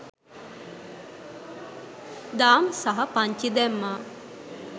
දාම් සහ පංචි දැම්මා.